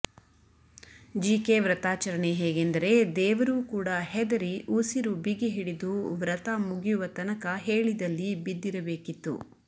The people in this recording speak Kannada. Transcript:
ಜೀಕೆ ವ್ರತಾಚರಣೆ ಹೇಗೆಂದರೆ ದೇವರೂ ಕೂಡ ಹೆದರಿ ಉಸಿರು ಬಿಗಿ ಹಿಡಿದು ವ್ರತ ಮುಗಿಯುವ ತನಕ ಹೇಳಿದಲ್ಲಿ ಬಿದ್ದಿರಬೇಕಿತ್ತು